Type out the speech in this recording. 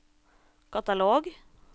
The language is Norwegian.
katalog